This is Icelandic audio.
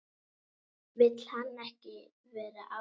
Vill hann ekki vera áfram?